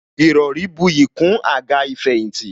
Ìrọrí buyì kún àga ìfẹ̀yìntì